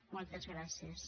moltes gràcies